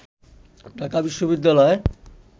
ঢাকা বিশ্ববিদ্যালয়